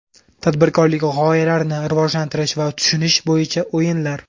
Tadbirkorlik g‘oyalarini rivojlantirish va tushunish bo‘yicha o‘yinlar.